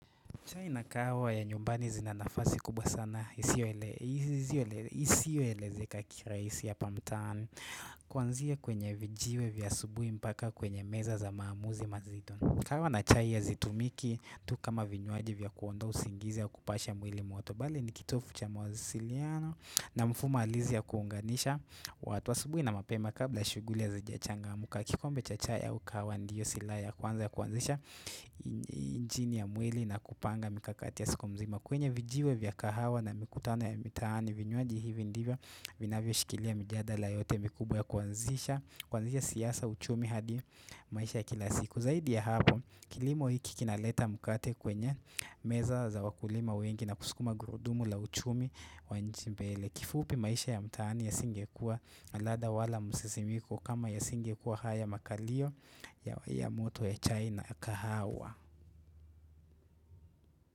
Chai na kahawa ya nyumbani zina nafasi kubwa sana isio elezeka karahisi apa mtaani Kwanzia kwenye vijiwe vya asubui mpaka kwenye meza za maamuzi mazito kahawa na chai hazitumiki tu kama vinywaji vya kuondoa usingizi au kupasha mwili moto Bali ni kitofu cha mawasiliano na mfuma alizi ya kuunganisha watu asubui na mapema kabla shuguli hazijachangamuka kikombe cha chai au kahawa ndiyo silaha ya kwanza ya kuanzisha injini ya mwili na kupanga mikakati ya siku mzima kwenye vijiwe vya kahawa na mikutano ya mitaani vinywaji hivi ndivyo vinavyo shikilia mijadala yote mikubwa ya kuanzisha siyasa uchumi hadi maisha ya kila siku Zaidi ya hapo kilimo hiki kinaleta mukate kwenye meza za wakulima wengi na kuskuma gurudumu la uchumi wa nchi mbele kifupi maisha ya mtaani yasingekuwa na ladha wala musisimiko kama yasingekuwa haya makalio ya moto ya chai na kahawa.